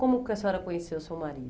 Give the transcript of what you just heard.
Como que a senhora conheceu o seu marido?